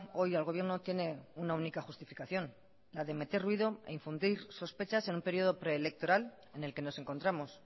hoy al gobierno tiene una única justificación la de meter ruido e infundir sospechas en un periodo preelectoral en el que nos encontramos